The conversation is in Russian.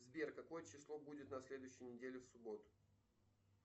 сбер какое число будет на следующей неделе в субботу